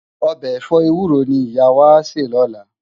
Òbè èfò éwúró ni Iyá wá á sè lòlá